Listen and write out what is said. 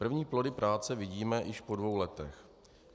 První plody práce vidíme již po dvou letech.